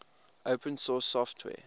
open source software